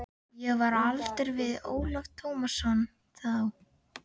Ég var á aldur við Ólaf Tómasson þá.